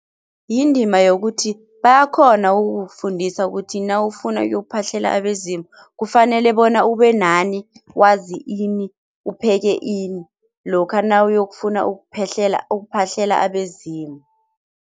Yindima yokuthi bayakhona ukukufundisa ukuthi nawufuna uyokuphahlela abezimu kufanele bona ube nani, wazi ini, upheke ini lokha nawuyokufuna ukuphahlela abezimu.